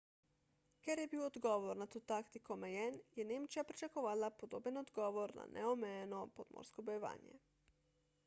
ker je bil odgovor na to taktiko omejen je nemčija pričakovala podoben odgovor na neomejeno podmorsko bojevanje